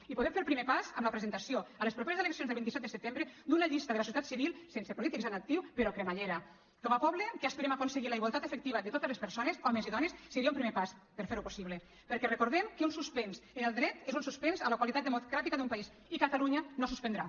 i podem fer el primer pas amb la presentació a les properes eleccions el vint set de setembre d’una llista de la societat civil sense polítics en actiu però cremallera com a poble que aspirem aconseguir la igualtat efectiva de totes les persones homes i dones seria un primer pas per ferho possible perquè recordem que un suspens en el dret és un suspens a la qualitat democràtica d’un país i catalunya no suspendrà